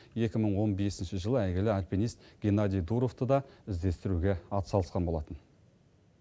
екі мың он бесінші жылы әйгілі альпинист геннадий дуровты та іздестіруге атсалысқан болатын